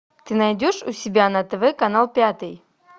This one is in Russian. ты найдешь у себя на тв канал пятый